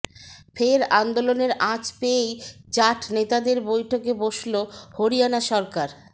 ফের আন্দোলনের আঁচ পেয়েই জাঠ নেতাদের বৈঠকে বসল হরিয়ানা সরকার